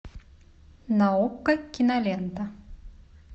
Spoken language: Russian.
на окко кинолента